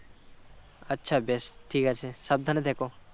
আচ্ছা বেশ ঠিক আছে সাবধানে থেকো